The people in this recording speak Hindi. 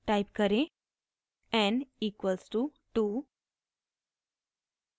टाइप करें n इक्वल्स टू 2